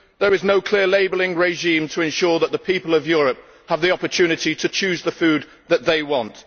There is no clear labelling regime to ensure that the people of Europe have the opportunity to choose the food that they want.